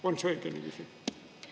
On see õige niiviisi?